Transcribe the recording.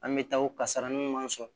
An bɛ taa o kasarainw man sɔn